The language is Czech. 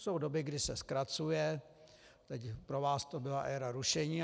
Jsou doby, kdy se zkracuje, teď pro vás to byla éra rušení.